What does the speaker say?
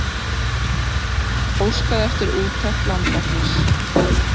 Óskað eftir úttekt landlæknis